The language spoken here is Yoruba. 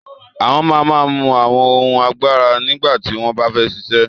Awọn man man mú awọn ohun àgbàrá nígbàtí wọn bá fẹ ṣíṣẹ̀